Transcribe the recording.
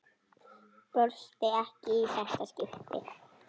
Brosti ekki í þetta skipti.